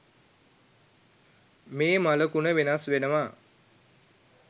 මේ මළකුණ වෙනස් වෙනවා